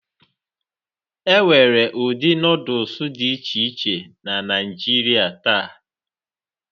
Enwere ụdị Nọdụs dị iche iche na Naijiria taa